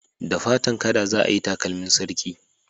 Da fatan kada za ayi takalmin sarki